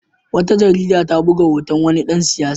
Wata jarida ta buga hoton wani dan siyasa.